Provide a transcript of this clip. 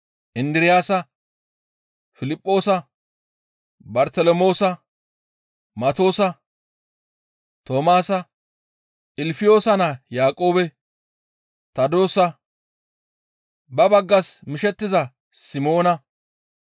Indiraasa, Piliphoosa, Bartelemoosa, Matoosa, Toomaasa, Ilfiyoosa naa Yaaqoobe, Tadoosa, ba baggas mishettiza Simoona,